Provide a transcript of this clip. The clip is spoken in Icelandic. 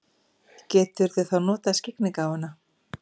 Geturðu þá notað skyggnigáfuna?